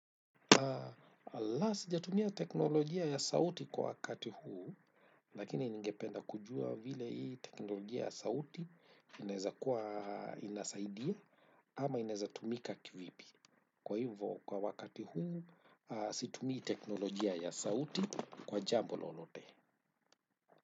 Alaa sijatumia teknolojia ya sauti kwa wakati huu. Lakini ningependa kujua vile hii teknolojia ya sauti inaeza kuwa inasaidia ama inaeza tumika kivipi. Kwa hivo kwa wakati huu situmia teknolojia ya sauti kwa jambo lolote.